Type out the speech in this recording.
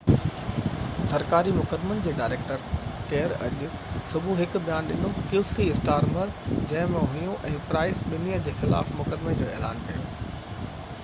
سرڪاري مقدمن جي ڊائريڪٽر ڪيئر اسٽارمر qc اڄ صبح هڪ بيان ڏنو جنهن ۾ هيون ۽ پرائس ٻنهي جي خلاف مقدمي جو اعلان ڪيو